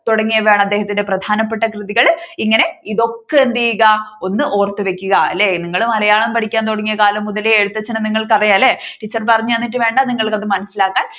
തുടങ്ങിയവയാണ് അദ്ദേഹത്തിന്റെ പ്രധാനപ്പെട്ട കൃതികള്. ഇങ്ങനെ ഇതൊക്കെ എന്തയ്യുക ഓർത്തുവയ്ക്കുക അല്ലെ നിങ്ങൾ മലയാളം പഠിക്കാൻ തുടങ്ങിയ കാലം മുതലേ എഴുത്തച്ഛനെ നിങ്ങൾക്കറിയാം അല്ലേ ടീച്ചർ പറഞ്ഞുതന്നിട്ട് വേണ്ട നിങ്ങൾക്ക് അത് മനസ്സിലാകാൻ